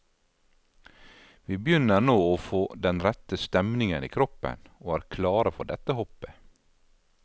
Vi begynner nå få den rette stemningen i kroppen, og er klare for dette hoppet.